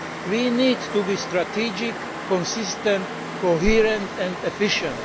We need to be strategic, consistent, coherent and efficient.